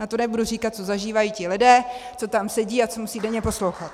A to nebudu říkat, co zažívají ti lidé, co tam sedí, a co musí denně poslouchat.